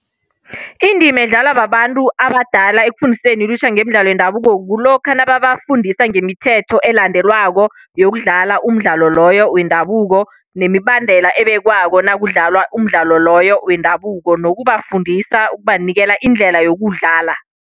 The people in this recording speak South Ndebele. Indima edlalwa babantu abadala ekufundiseni ilutjha ngemidlalo yendabuko, kulokha nabo babafundisa ngemithetho elandelwako yokudlala umdlalo loyo wendabuko, nemibandela ebekwako nakudlalwa umdlalo loyo wendabuko, nokubafundisa ukubanikela indlela yokuwudlala.